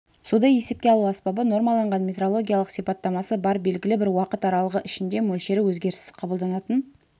суды есепке алу аспабы нормаланған метрологиялық сипаттамасы бар белгілі бір уақыт аралығы ішінде мөлшері өзгеріссіз қабылданатын